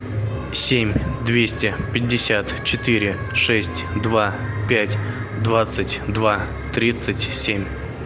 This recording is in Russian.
семь двести пятьдесят четыре шесть два пять двадцать два тридцать семь